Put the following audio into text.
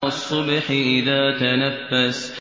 وَالصُّبْحِ إِذَا تَنَفَّسَ